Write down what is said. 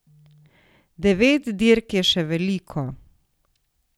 Devet dirk je še veliko.